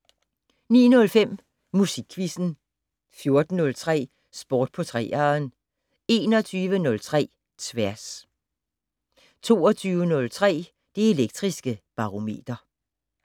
09:05: Musikquizzen 14:03: Sport på 3'eren 21:03: Tværs 22:03: Det Elektriske Barometer